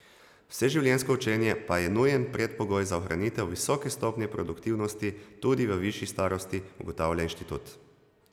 Vseživljenjsko učenje pa je nujen predpogoj za ohranitev visoke stopnje produktivnosti tudi v višji starosti, ugotavlja inštitut.